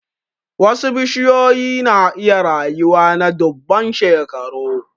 Wasu bishiyoyi na iya rayuwa na dubban shekaru.